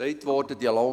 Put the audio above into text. Es wurde gesagt: